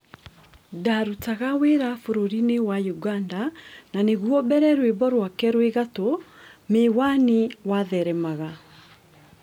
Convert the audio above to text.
Ndarutaga wĩra bũrũri-inĩwa Ũganda na nĩguo mbere rwĩmbo rwake rwĩ gatũ 'Mĩwani' watheremaga.